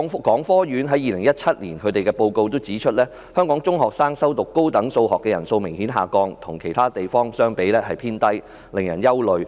港科院2017年報告指出，香港中學生修讀高等數學的人數明顯下降，與其他地方相比屬於偏低，令人憂慮。